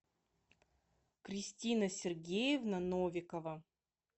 кристина сергеевна новикова